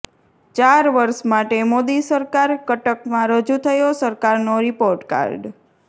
ચાર વર્ષ મોદી સરકારઃ કટકમાં રજૂ થયો સરકારનો રિપોર્ટ કાર્ડ